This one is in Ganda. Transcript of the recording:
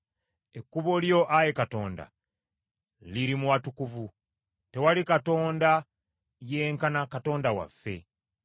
Ekkubo lyo, Ayi Katonda, liri mu watukuvu. Tewali katonda yenkana Katonda waffe.